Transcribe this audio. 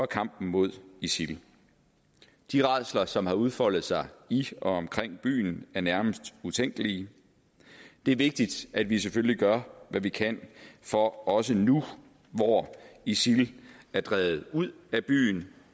kampen mod isil de rædsler som har udfoldet sig i og omkring byen er nærmest utænkelige det er vigtigt at vi selvfølgelig gør hvad vi kan for også nu hvor isil er drevet ud af byen